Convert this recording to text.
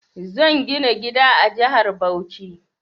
Zan gina gida a jahar Bauchi